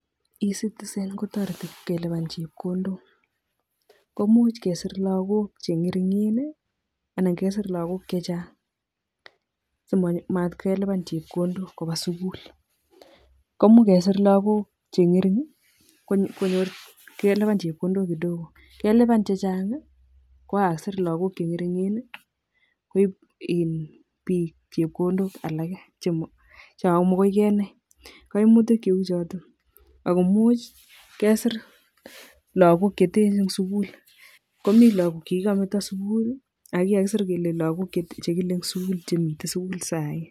Ecitizen kotoreti kelipan chepkondok komuch kesir lakok cheng'ering'en anan kesir lakok chechang simatkelipan chepkondok kopaa sikul, komuch kesir lakok cheng'ering konyor kelipan chepkondok kidogo kelipan chechang kokasir lakok cheng'ering'en koip in biik chepkondok alake chamokoikenai kaimutik cheu choto akomuch kesir lakok cheten en sikul komi lakok chekikometo sikul ako kikakisir lakok chekile en sikul chemiten sikul sai.